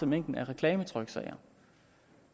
mængden af reklametryksager